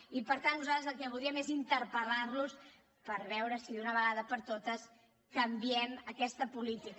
i per tant nosaltres el que voldríem és interpel·lar los per veure si d’una vegada per totes canviem aquesta política